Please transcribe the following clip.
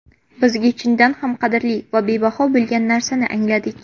Bizga chindan ham qadrli va bebaho bo‘lgan narsani angladik.